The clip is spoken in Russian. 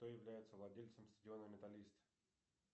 кто является владельцем стадиона металлист